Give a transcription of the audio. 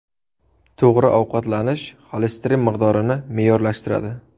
To‘g‘ri ovqatlanish xolesterin miqdorini me’yorlashtiradi.